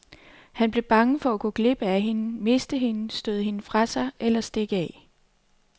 Han blev bange for at gå glip af hende, miste hende, støde hende fra sig eller stikke af.